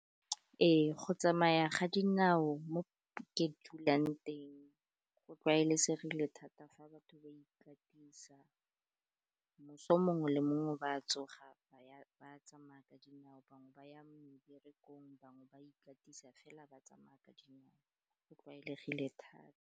Ee, go tsamaya ga dinao mo ke dulang teng go tlwaelesegileng thata fa batho ba ikatisa, moso mongwe le mongwe ba tsoga ba tsamaya ka dinao, bangwe ba ya meberekong, bangwe ba ikatisa fela ba tsamaya ka dinao, go tlwaelegile thata.